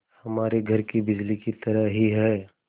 हमारे घर की बिजली की तरह ही है